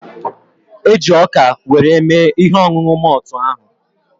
E ji ọka were mme ihe ọṅụṅụ moltu ahu